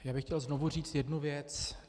Já bych chtěl znovu říct jednu věc.